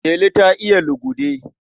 Delu ta iya lugude.